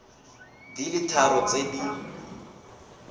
di le tharo tse di